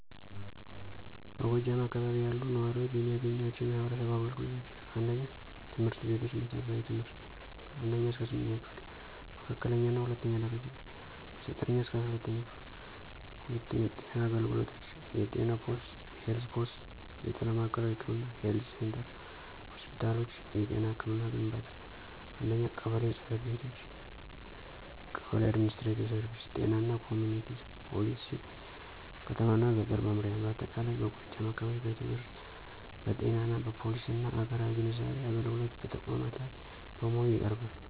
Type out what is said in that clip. በጎጃም አካባቢ ያሉ ነዋሪዎች የሚያገኟቸው የማህበረሰብ አገልግሎቶች: 1. ትምህርት ቤቶች መሠረታዊ ትምህርት (1ኛ–8ኛ ክፍል) መካከለኛ እና ሁለተኛው ደረጃ(9ኛ-12ኛ ክፍል) 2. ጤና አገልግሎቶች የጤና ፖስት (Health Posts) የጤና ማዕከላዊ ህክምና (Health Centers) ሆስፒታሎች የጤና ህክምና ግንባታ 1. ቀበሌ ጽ/ቤቶች (Kebele & Administrative Services ጤና እና ኮሚኩኒቲ ፖሊሲ ከተማ እና ገጠር መምሪያ በአጠቃላይ በጎጃም አካባቢ በትምህርት በጤና በፖሊሲና አራዊ ግንዛቤ አገልግሎት በተቋማት ላይ በሙሉ ይቀርባል።